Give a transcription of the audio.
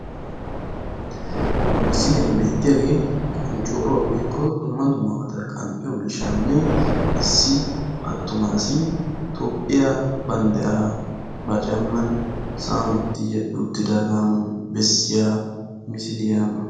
Ha misiliyan beettiyagee qonccooruwa woykko dumma dummabata qanxxiyo miishshanne issi attuma asi Toophphiya banddiraa ba caamman sa'an uti yedhdhi uttidaagaa besiya misiliya.